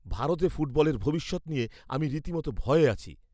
ভারতে ফুটবলের ভবিষ্যৎ নিয়ে আমি রীতিমতো ভয়ে আছি।